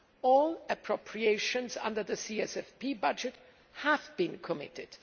all appropriations under the CFSP budget have been committed.